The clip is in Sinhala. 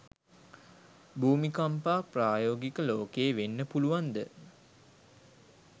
භූමිකම්පා ප්‍රායෝගික ලෝකෙ වෙන්න පුළුවන්ද?